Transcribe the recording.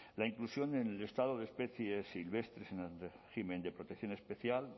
la inclusión en el listado de especies silvestres en régimen de protección especial